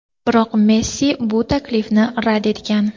biroq Messi bu taklifni rad etgan.